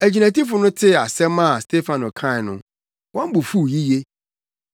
Agyinatufo no tee asɛm a Stefano kae no, wɔn bo fuw yiye.